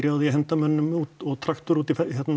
á því að henda mönnum út og traktor út í